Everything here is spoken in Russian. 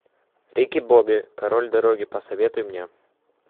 рики бобби король дороги посоветуй мне